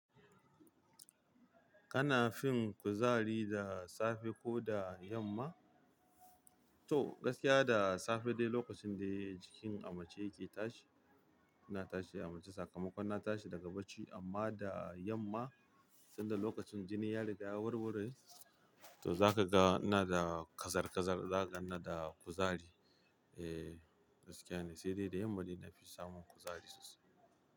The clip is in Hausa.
Kana fin kuzari da safe ko da yamma? To gaskiya da safe dai lokacin dai jikin amace yake tashi, yana tashi amace sakamakon na tashi daga bacci amma da yamma sanda lokacin jini ya riga ya warwure, to zaka ga na da kazar-kazar, zaka ga na da kuzari. Eh gaskiya ne, sai dai da yamma ne na fi samun kuzari sosai.